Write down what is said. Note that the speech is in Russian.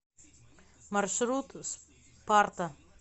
маршрут спарта